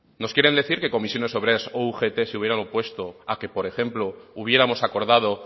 nos quieren decir que comisiones obreras o ugt se hubieran opuesto a que por ejemplo hubiéramos acordado